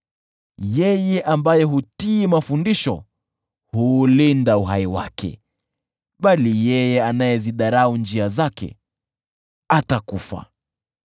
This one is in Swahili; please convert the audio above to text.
Yeye ambaye hutii mafundisho huulinda uhai wake, bali yeye anayezidharau njia zake atakufa.